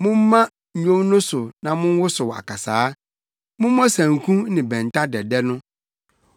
Momma nnwom no so na monwosow akasaa. Mommɔ sanku ne bɛnta dɛdɛ no.